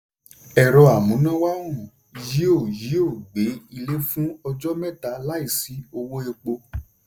ẹ̀rọ-amúnáwá òòrùn yóò yóò gbé ilé fún ọjọ́ mẹ́ta láìsí owó epo.